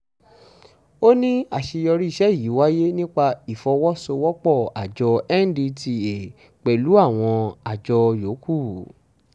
ó ní àṣeyọrí iṣẹ́ yìí wáyé nípa ìfọwọ́-sowọ́-pọ̀ àjọ ndtea pẹ̀lú àwọn àjọ yòókù